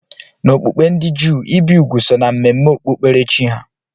N'okpukpe ndị Juu, ibi úgwù so na mmemme okpukperechi ha